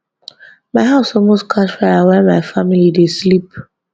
my house almost catch fire while my family dey sleep